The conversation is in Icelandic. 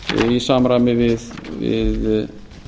í samræmi við